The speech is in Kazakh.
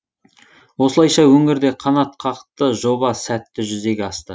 осылайша өңірде қанатқақты жоба сәтті жүзеге асты